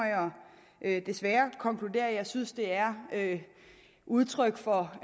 jeg desværre konkludere at jeg synes det er udtryk for